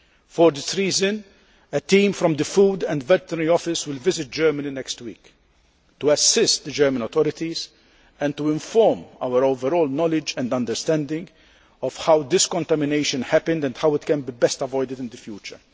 For this reason, a team from the Food and Veterinary Office will visit Germany next week to assist the German authorities and to inform our overall knowledge and understanding of how this contamination happened and how it can be avoided in the future.